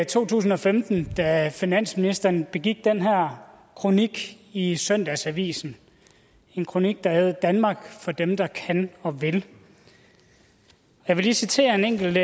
to tusind og femten da finansministeren begik den her kronik i søndagsavisen en kronik der ærede danmark for dem der kan og vil jeg vil lige citere en enkelt